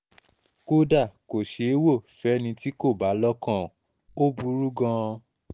kódà kò ṣeé wò ó fẹ́ni tí kò bá lọ́kàn ò burú gan-an